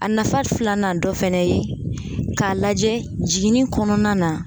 A nafa filanan dɔ fɛnɛ ye k'a lajɛ jiginni kɔnɔna na